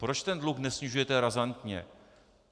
Proč ten dluh nesnižujete razantně?